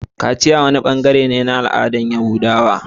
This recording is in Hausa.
Kaciya wani bangare ne na al'adar Yahudawa.